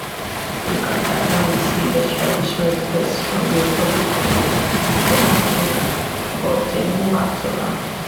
uganda don receive extradition request from dr congo for makenga but dem no act on am